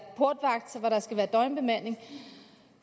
portvagt hvor der skal være døgnbemanding